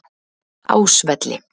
Ásvelli